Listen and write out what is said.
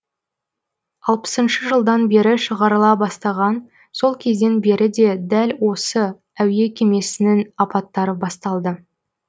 алпысыншы жылдан бері шығарыла бастаған сол кезден бері дәл осы әуе кемесінің апаттары басталды